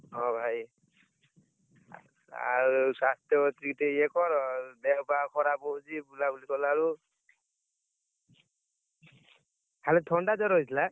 ହଉ ଭାଇ, ଆଉ ସ୍ବାସ୍ଥ୍ୟ ପ୍ରତି ଟିକେ ୟେ କର ଦେହ ପା ଖରାପ ହଉଛି ବୁଲାବୁଲି କଲା ବେଳକୁ। ଖାଲି ଥଣ୍ଡା ଜର ହେଇଥିଲା?